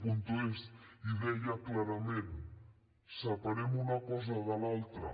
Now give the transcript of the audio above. es i deia clarament separem una cosa de l’altra